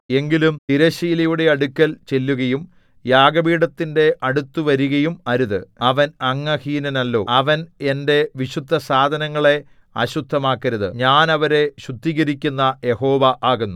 എങ്കിലും തിരശ്ശീലയുടെ അടുക്കൽ ചെല്ലുകയും യാഗപീഠത്തിന്റെ അടുത്തുവരികയും അരുത് അവൻ അംഗഹീനനല്ലോ അവൻ എന്റെ വിശുദ്ധസാധനങ്ങളെ അശുദ്ധമാക്കരുത് ഞാൻ അവരെ ശുദ്ധീകരിക്കുന്ന യഹോവ ആകുന്നു